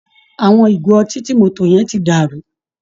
Àwọn ìgò ọtí tí mo tò yẹn tí dàrú